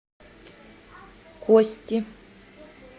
кости